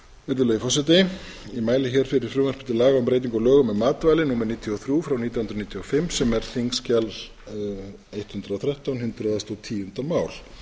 virðulegi forseti ég mæli hér fyrir frumvarpi til laga um breytingu á lögum um matvæli númer níutíu og þrjú nítján hundruð níutíu og fimm sem er þingskjal hundrað og þrettán hundrað og tíunda mál